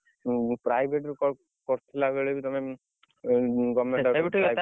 ହୁଁ ହୁଁ private ରେ କରିଥିଲା ବେଳେ ବି ତମେ